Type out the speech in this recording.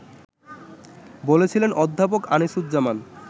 বলছিলেন অধ্যাপক আনিসুজ্জামান